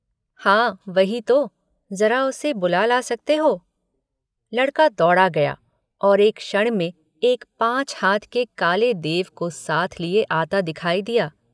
हाँ वही तो ज़रा उसे बुला सकते हो लड़का दौड़ा हुआ गया और एक क्षण में एक पाँच हाथ के काले देव को साथ लिए आता दिखाई दिया।